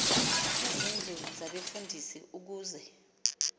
izindlu zabefundisi ukuze